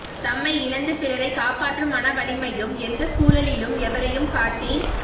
தம்மை இழந்து பிறரை காப்பாற்றும் மன வலிமையும் எந்த சூழலிலும் எவரையும் காட்டிக்